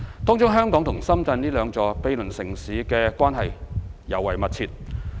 當中香港和深圳這兩座毗鄰城市的關係尤為密切。